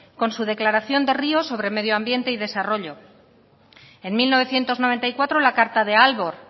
con su declaración de ríos sobre medioambiente y desarrollo en mil novecientos noventa y cuatro la carta de aalborg